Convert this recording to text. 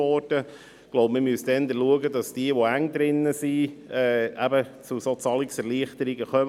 Man müsste eher darauf achten, dass diejenigen, welche Mühe haben, die Steuern zu bezahlen, einen Zugang zu Zahlungserleichterungen erhalten.